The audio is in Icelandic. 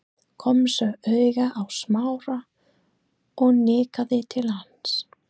Kom svo auga á Smára og nikkaði til hans.